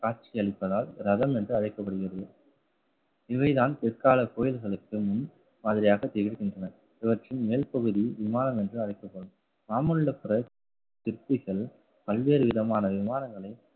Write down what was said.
காட்சியளிப்பதால் ரதம் என்று அழைக்கப்படுகிறது இவைதான் பிற்கால கோவில்களுக்கு முன் மாதிரியாக திகழ்கின்றன. இவற்றின் மேல்பகுதி விமானம் என்று அழைக்கப்படும். மாமல்லபுரம் சிற்பிகள் பல்வேறு விதமான விமானங்களை